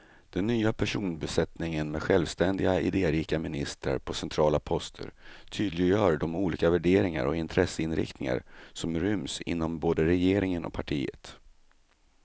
Den nya personbesättningen med självständiga, idérika ministrar på centrala poster tydliggör de olika värderingar och intresseinriktningar som ryms inom både regeringen och partiet.